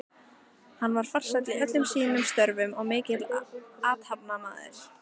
Hann var farsæll í öllum sínum störfum og mikill athafnamaður.